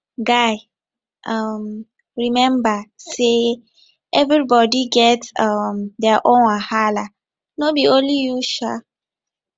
guy um rememba sey everybodi get um their own wahala no be only you um